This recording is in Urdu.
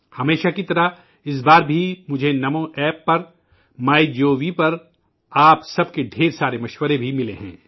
ہمیشہ کی طرح، اس بار بھی مجھے نمو ایپ پر، مائی جی او وی پر آپ کے بہت سارے مشورے بھی ملے ہیں